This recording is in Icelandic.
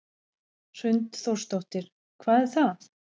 Hrund Þórsdóttir: Hvað er það?